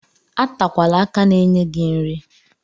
Atakwala aka na-enye gị nri.